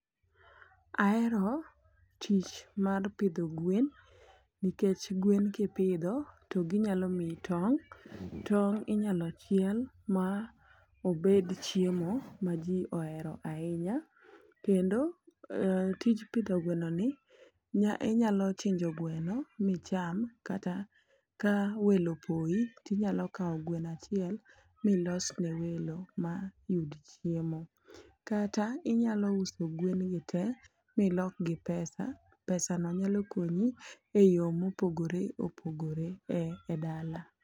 Ahero tich mar pidho gwen nikech gwen kipidho to ginyalo miyi tong', tong' inyalo chiel ma obed chiemo ma jii ohero ahinya kendo tij pidho gweno ni nya inyalo chinjo gweno micham kata ka welo poyi tinyalo kawo gweno achiel milos ne welo ma yud chiemo. Kata inyalo uso gwen gi te milokgi pesa , pesano nyalo konyi e yoo mopogore opogore e dala.